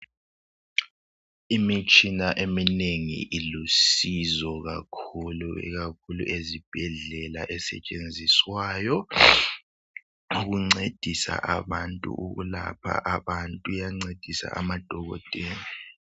Imitshina eminengi ilusizo kakhulu ikakhulu ezibhedlela esetshenziswayo ukuncedisa abantu ukulapha abantu. Iyancedisa amadokotela.